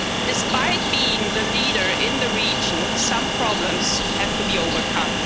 Despite being the leader in the region, some problems still have to be overcome.